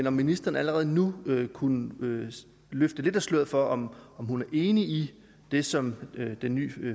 om ministeren allerede nu kunne løfte lidt af sløret for om hun er enig i det som den nye